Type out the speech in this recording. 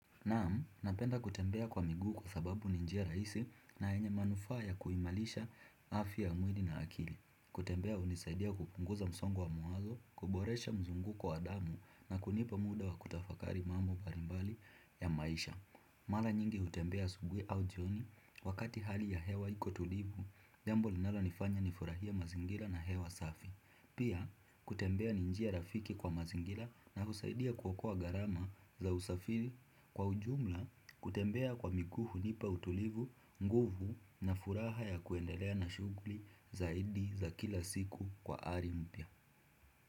Naam, napenda kutembea kwa miguu kwasababu ni njia rahisi na yenye manufaa ya kuimarisha afya ya mwili na akili. Kutembea hunisaidia kupunguza msongo wa mawazo, kuboresha mzunguko wa damu na kunipa muda wa kutafakari mambo mbalimbali ya maisha. Mara nyingi hutembea asubuhi au jioni wakati hali ya hewa iko tulivu, jambo linalonifanya nifurahie mazingira na hewa safi. Pia kutembea ni njia rafiki kwa mazingira na husaidia kuokoa gharama za usafiri. Kwa ujumla kutembea kwa miguu hunipa utulivu, nguvu na furaha ya kuendelea na shughuli zaidi za kila siku kwa ari mpia.